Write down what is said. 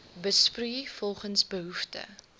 besproei volgens behoefte